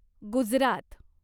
Gujarat